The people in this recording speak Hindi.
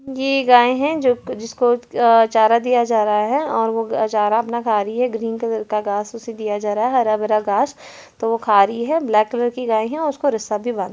ये गाये हैं जिसको चारा दिया जा रहा हैं और वो चारा अपना खा रही हैं ग्रीन कलर का घास उसे दिया जा रहा है हरा भरा घास तो वो खा रही हैं ब्लैक कलर की गाय हैं उसको रिस--